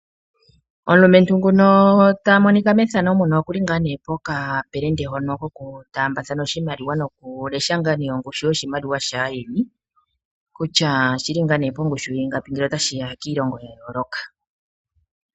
Omulumentu oku li pokapelende hoka kokutaambathana oshimaliwa nokulesha ongushu yoshimaliwa shaayeni kutya oshi li pongushu yiingapi ngele otashi ya kiilongo ya yooloka.